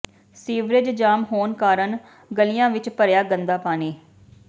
sewerage jam ਹੋਣ ਕਾਰਨ ਗਲੀਆਂ ਵਿੱਚ ਭਰਿਆ ਗੰਦਾ ਪਾਣੀ